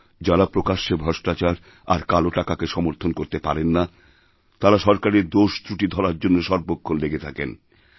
যাঁরা প্রকাশ্যে ভ্রষ্টাচার আর কালোটাকাকে সমর্থন করতে পারেন না তাঁরা সরকারের দোষত্রুটি ধরার জন্য সর্বক্ষণ লেগেথাকেন